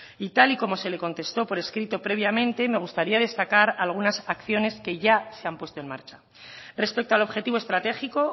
y tal y como se le contesto por escrito previamente me gustaría destacar algunas acciones que ya se han puesto en marcha respecto al objetivo estratégico